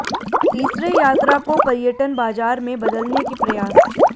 तीसरे यात्रा को पर्यटन बाजार में बदलने के प्रयास